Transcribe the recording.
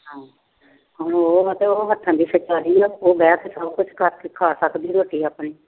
ਉਹ ਉਹ ਬੈਠ ਕੇ ਕੁਛ ਕਰਕੇ ਖਾ ਸਕਦੀ ਆ ਰੋਟੀ ਆਪਣੀ।